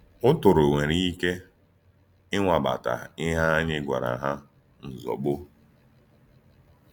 Ụ́tụ̀rụ̀ nwere ike ínwàbàtà íhè ànyí gwàrà hà ǹzọ̀gbò.